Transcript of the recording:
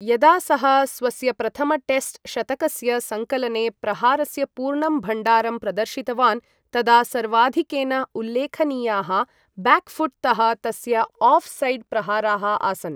यदा सः स्वस्य प्रथम टेस्ट् शतकस्य सङ्कलने प्रहारस्य पूर्णं भण्डारं प्रदर्शितवान्, तदा सर्वाधिकेन उल्लेखनीयाः ब्याक् फूट् तः तस्य आफ् सैड् प्रहाराः आसन्।